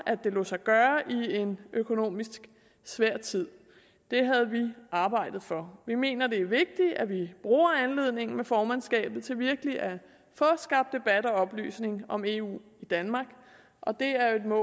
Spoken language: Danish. det lod sig gøre i en økonomisk svær tid det havde vi arbejdet for vi mener at det er vigtigt at vi bruger anledningen med formandskabet til virkelig at få skabt debat og oplysning om eu i danmark og det er jo et mål